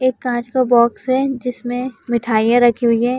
एक काँच का बॉक्स है जिसमें मिठाइयां रखी हुई हैं।